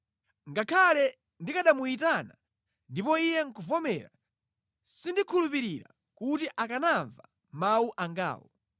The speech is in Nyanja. Ngakhale ndikanamuyitana ndipo Iye ndi kuvomera, sindikhulupirira kuti akanamva mawu angawo.